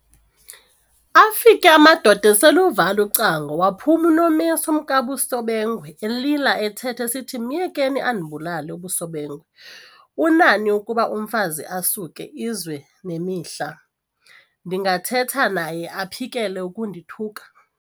Afike amadoda asel'eluvala ucango, waphuma uNomesi umkaBusobengwe, elila ethetha esithi, "Myekeni andibulale.". UBusobengwe, "Unani ukuba umfazi asuke izwe nemihla ndingathetha naye aphikele ukundithuka?